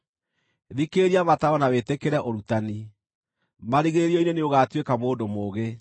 Thikĩrĩria mataaro na wĩtĩkĩre ũrutani, marigĩrĩrio-inĩ nĩũgaatuĩka mũndũ mũũgĩ.